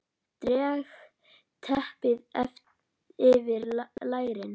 Dreg teppið yfir lærin.